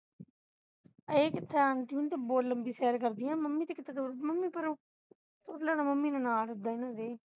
ਇਹ ਕਿੱਥੇ aunty ਹੋਣੀ ਤੈ ਬਹੁਤ ਲੰਬੀ ਸੈਰ ਕਰਦੀ ਹੈ mummy ਤੇ ਕਿੱਥੇ ਤੁਰ mummy ਪਰ ਉਹ ਤੁਰ ਲੈਣਾ mummy ਨੇ ਨਾਲ ਏਦਾਂ ਹੀ